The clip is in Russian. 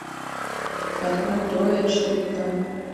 открой троя четыре ка